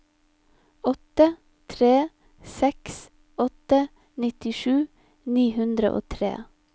åtte tre seks åtte nittisju ni hundre og tre